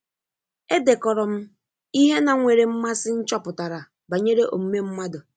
Edekọrọ m ihe na-nwere mmasị nchọpụtara banyere omume mmadụ.